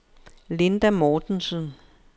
Linda Mortensen